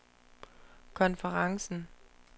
konferencen